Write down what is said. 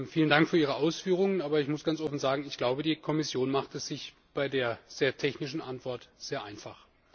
Vielen Dank für Ihre Ausführungen, aber ich muss ganz offen sagen, ich glaube, die Kommission macht es sich bei der sehr technischen Antwort sehr einfach.